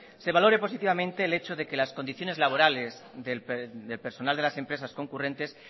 se valore positivamente el hecho de que las condiciones laborales del personal de las empresas concurrentes